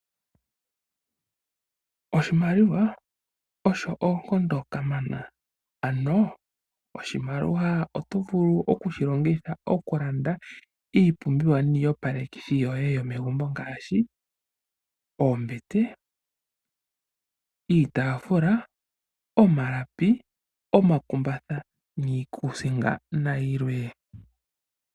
Oshimaliwa osho onkondo kamana. Ano oshimaliwa oto vulu okushilongitha okulanda iipumbiwa niiyopalekithi yoye yomegumbo ngaashi oombete, iitaafula, omalapi, omakumbatha, niikuusinga nayilwe.